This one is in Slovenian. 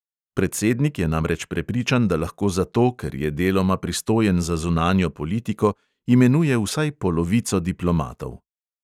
Predsednik je namreč prepričan, da lahko zato, ker je deloma pristojen za zunanjo politiko, imenuje vsaj polovico diplomatov.